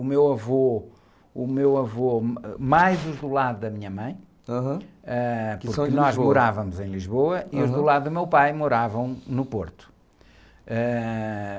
Eh... O meu avô, mais os do lado da minha mãe...ham, que são de Lisboa?h, porque nós morávamos em Lisboa.ham.s do lado do meu pai moravam no Porto. Ãh...